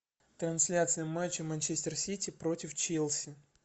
трансляция матча манчестер сити против челси